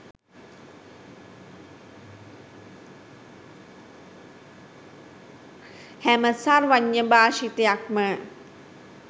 හැම සර්වඥ භාෂිතයක්ම